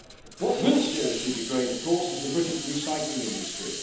What will seriously degrade, of course, is the British recycling industry.